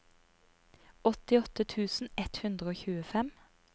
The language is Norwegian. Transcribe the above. åttiåtte tusen ett hundre og tjuefem